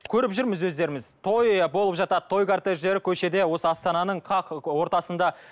көріп жүрміз өздеріміз той болып жатады той картедждері көшеде осы астананың қақ ортасында